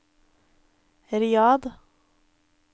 Riyadh